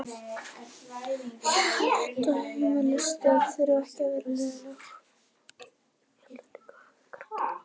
Ég held að heimilisstörf þurfi ekki að vera leiðinleg.